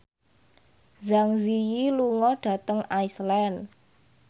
Zang Zi Yi lunga dhateng Iceland